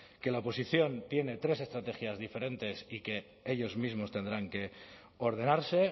que la oposición tiene tres estrategias diferentes y que ellos mismos tendrán que ordenarse